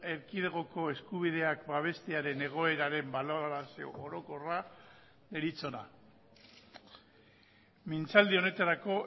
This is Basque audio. erkidegoko eskubideak babestearen egoeraren balorazio orokorra deritzona mintzaldi honetarako